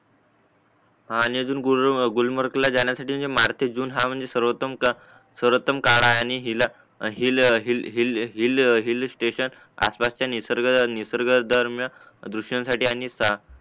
हा आणि अजून गुलमार्गला जाण्यासाठी मार्च ते जून सरोत्तम काळ आहे आणि हिला हिल हिल स्टेशन आसपासच्या निसर्ग दरम्यान दृशांसाठी आणि